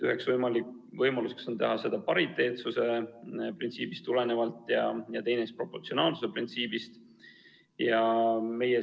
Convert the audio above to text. Üks võimalus on teha seda pariteetsuse printsiibist tulenevalt, teine võimalus on teha seda proportsionaalsuse printsiibist lähtudes.